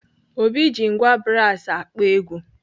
Obi ji ngwá brasi akpọ egwu.